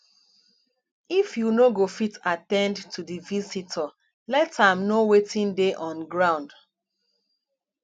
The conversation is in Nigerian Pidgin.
if you no go fit at ten d to di visitor let am know wetin dey on ground